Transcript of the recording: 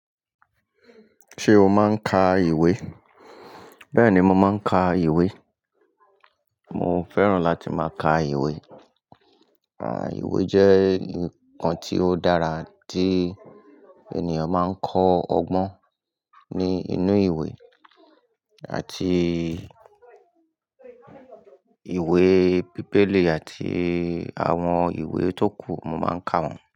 Ṣé o máa ń ka ìwé? Bẹ́ẹ̀ni, mo máa ń ka ìwé. Mo fẹ́ràn láti má ka ìwé. Àwọn ìwé jẹ́ nnkan tí ó dára tí ènìyàn máa ń kọ́ ọgbọ́n ní inú ìwé àti ìwé Bíbélì àti àwọn ìwé tó kù, mo máa ń ka wọ́n.